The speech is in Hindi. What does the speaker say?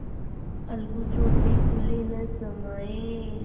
अलगू चौधरी फूले न समाये